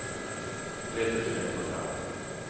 tre tusen etthundra